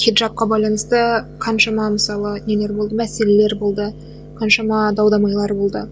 шет жаққа байланысты қаншама мысалы нелер болды мәселелер болды қаншама дау дамайлар болды